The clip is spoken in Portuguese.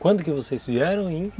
Quando que vocês vieram em...?